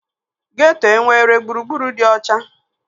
Geeto enwere gburugburu dị ọcha?